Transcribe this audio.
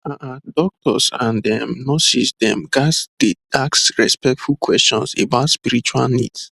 ah ah doctors and um nurses dem ghats dey ask respectful questions about spiritual needs